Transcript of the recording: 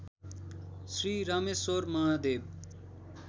Shri Rameshwar Mahadev